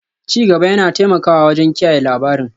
Ci gaba yana taimakawa wajen kiyaye labarin